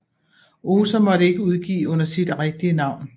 Ohser måtte ikke udgive under sit rigtige navn